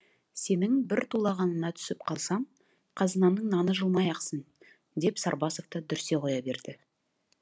сенің бір тулағаныңа түсіп қалсам қазынаның наны жылмай ақсын деп сарбасов та дүрсе қоя берді